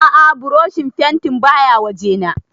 A'a burushin fentin baya wajena